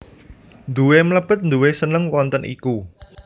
Nduwe mlebet nduwe seneng wonten iku